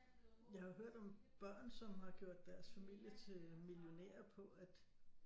Jeg har hørt om børn som har gjort deres familie til millionærer på at